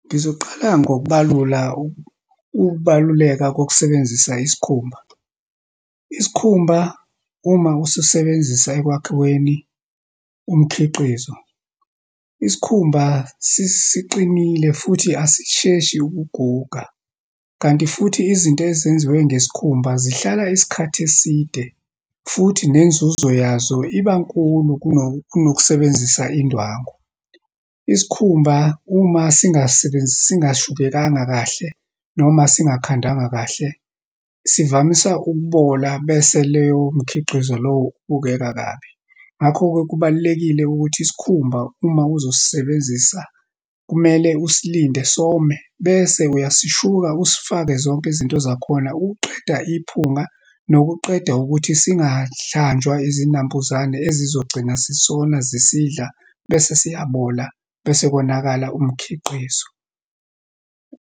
Ngizoqala ngokubalula ukubaluleka kokusebenzisa isikhumba. Isikhumba, uma usisebenzisa ekwakhiweni umkhiqizo, isikhumba siqinile futhi asisheshi ukuguga, kanti futhi izinto ezenziwe ngesikhumba zihlala isikhathi eside, futhi nenzuzo yazo iba nkulu kunokusebenzisa indwangu. Isikhumba, uma singasebenzisi, singashukekanga kahle, noma singakhandwanga kahle, sivamisa ukubola, bese leyo mikhiqizo lowo ubukeka kabi. Ngakho-ke kubalulekile ukuthi isikhumba, uma uzosebenzisa kumele usilinde some, bese uyasishuka, usifake zonke izinto zakhona, uqeda iphunga nokuqeda ukuthi singahlanjwa izinambuzane ezizogcina zisona, zisidla, bese siyabola, bese konakala umkhiqizo.